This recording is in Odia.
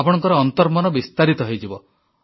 ଆପଣଙ୍କ ଅନ୍ତର୍ମନ ବିସ୍ତାରିତ ହୋଇଯିବ